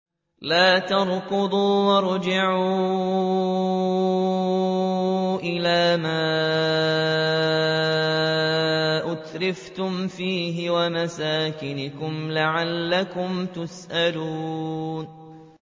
لَا تَرْكُضُوا وَارْجِعُوا إِلَىٰ مَا أُتْرِفْتُمْ فِيهِ وَمَسَاكِنِكُمْ لَعَلَّكُمْ تُسْأَلُونَ